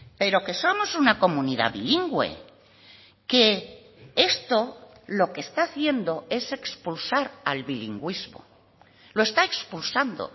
pero que somos una comunidad bilingüe que esto lo que está haciendo es expulsar al bilingüismo lo está expulsando